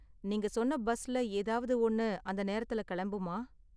நீங்க சொன்ன பஸ்ல ஏதாவது ஒன்னு அந்த நேரத்துல கிளம்புமா?